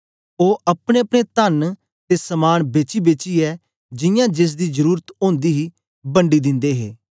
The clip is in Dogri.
ओ अपनेअपने तन्न ते समान बेचीबेचियै जियां जेसदी जरुरत ओंदी ही बंडी दिंदे हे